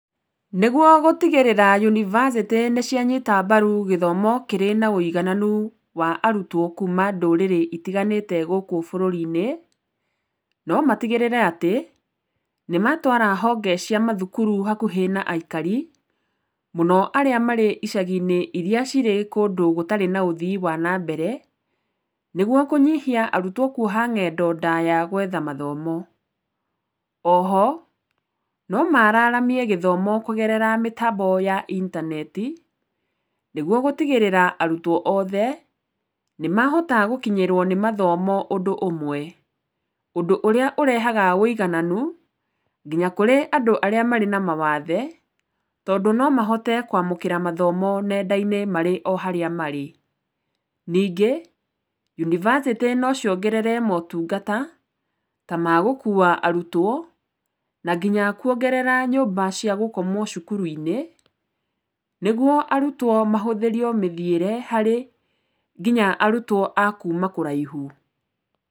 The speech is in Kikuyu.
Nĩgwo gũtigĩrĩra yunibacĩtĩ nĩcianyita mbaru gĩthomo kĩrĩ na ũigananu wa arutwo kuuma ndũrĩrĩ itiganĩte gũkũ bũrũri-inĩ, nomatigĩrĩre atĩ nĩmatwara honge cia mathukuru hakuhĩ na aikari mũno arĩa marĩ icagi-inĩ iria cirĩ kũndũ gũtarĩ na ũthii wa nambere, nĩgwo kũnyihia arutwo kuoha ng'endo ndaya gwetha mathomo. Oho, nomararamie gĩthomo kũgerera mĩtambo ya intaneti, nĩgwo gũtigĩrĩra arutwo othe nĩmahota gũkinyĩrwo nĩ mathomo ũndũ ũmwe, ũndũ ũrĩa ũrehaga wũigananu nginya kũrĩ andũ arĩa marĩ na mawathe tondũ nomahote kwamũkĩra mathomo nenda-inĩ marĩ o harĩa marĩ. Ningĩ yunibacĩtĩ nociongerere motungata ta ma gũkua arutwo na nginya kwongerera nyũmba cia gũkomwo cukuru-inĩ, nĩgwo arutwo mahũthĩrio mĩthiĩre harĩ nginya arutwo a kuuma kũraihu.